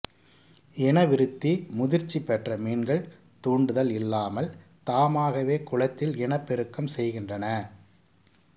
இனவிருத்திமுதிர்ச்சி பெற்ற மீன்கள் தூண்டுதல் இல்லாமல் தாமாகவே குளத்தில் இனப்பெருக்கம் செய்கின்றன